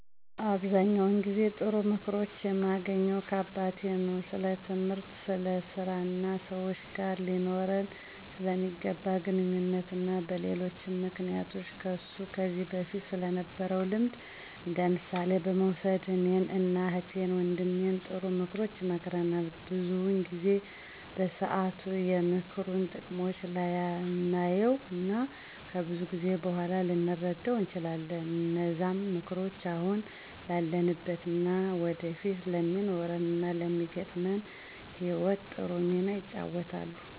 አብዛኛውን ጊዜ ጥሩ ምክሮችን የማገኘው ከአባቴ ነው። ስለትምህርት፣ ስለ ስራ እና ሰወች ጋር ሊኖረን ስለሚገባ ግንኙነት እና በሌሎችም ምክንያቶች ከሱ ከዚ በፊት ስለነበረው ልምድ እንደምሳሌ በመውሰድ እኔን እና እህት ወንድሜን ጥሩ ምክሮችን ይመክረናል። ብዙውን ጊዜ በሰአቱ የምክሩን ጥቅም ላናየው እና ከብዙ ጊዜ በኋላ ልንረደው እንችላለን። እነዛም ምክሮች አሁን ላለንበት እና ወደፊት ለሚኖረን እና ለሚገጥመን ህይወት ጥሩ ሚና ይጫወታሉ።